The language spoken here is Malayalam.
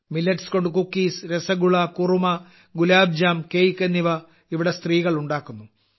മില്ലറ്റ്സ് കൊണ്ട് കുക്കീസ് രസഗുള കുറുമ ഗുലാബ് ജാം കേക്ക് എന്നിവ ഇവിടെ സ്ത്രീകൾ ഉണ്ടാക്കുന്നു